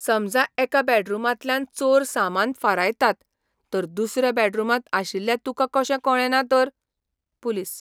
समजा एका बॅडरूमांतल्यान चोर सामान फारायतात, तर दुसऱ्या बॅडरूमांत आशिल्ल्या तुका कशें कळ्ळे ना तर? पुलीस